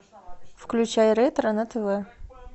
включай ретро на тв